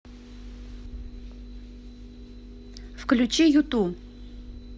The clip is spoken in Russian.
включи юту